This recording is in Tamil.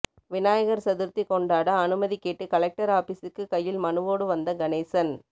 விநாயகர் சதுர்த்தி கொண்டாட அனுமதி கேட்டு கலெக்டர் ஆபிசுக்கு கையில் மனுவோடு வந்த கணேசன்